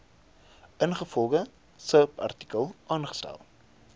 ingevolge subartikel aangestel